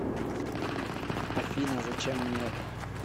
афина зачем мне это